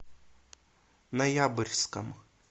ноябрьском